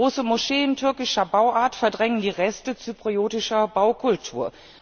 Große Moscheen türkischer Bauart verdrängen die Reste zypriotischer Baukultur.